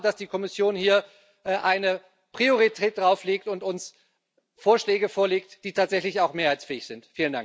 Ich erwarte, dass die Kommission hier eine Priorität darauflegt und uns Vorschläge vorlegt, die tatsächlich auch mehrheitsfähig sind.